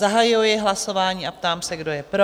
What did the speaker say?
Zahajuji hlasování a ptám se, kdo je pro?